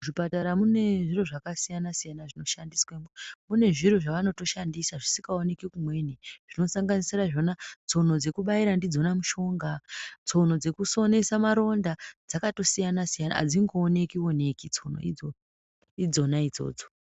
Muzvipatara mune zviro zvakasiyana siyana zvinoshandiswamo mune zviro zvavanoshandisa zvisingaonekwi kumweni zvinosanganisira zvona tsono dzekubaira ndiDzona mishonga tsono dzekusonesa maronda dzakasiyana-siyana adzingooneki oneki tsono idzona.